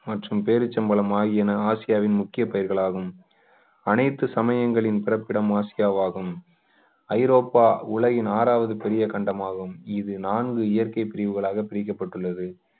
மற்றும் பேரிச்சம்பழம் ஆகியன ஆசியாவின் முக்கிய பயிர்களாகும் அனைத்து சமயங்களின் பிறப்பிடம் ஆசியாவாகும் ஐரோப்பா உலகின் ஆறாவது பெரிய கண்டம் ஆகும் இது நான்கு இயற்கை பிரிவுகளாக பிரிக்கப்பட்டுள்ளது